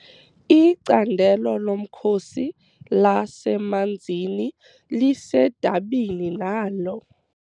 Icandelo lomkhosi lasemanzini lisedabini nalo.